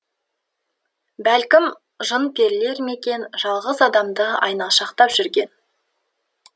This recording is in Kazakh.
бәлкім жын перілер ме екен жалғыз адамды айналшақтап жүрген